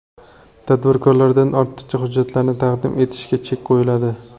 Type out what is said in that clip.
Tadbirkordan ortiqcha hujjatlarni taqdim etishga chek qo‘yiladi.